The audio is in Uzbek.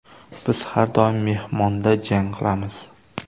Biz har doim mehmonda jang qilamiz.